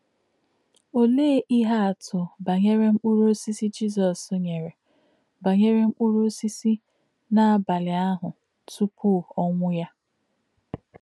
Ọ̀lē̄ íhè̄ àtụ̀ bá̄nyèrè̄ mkpụ̀rụ́ ọ̀sísì̄ Jizọ́s nyèrè̄ bá̄nyèrè̄ mkpụ̀rụ́ ọ̀sísì̄ n’ábà̄lí̄ àhū̄ tụ́pụ̀ ọ̀nwú̄ yá̄?